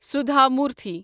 سودھا موٗرتھٕے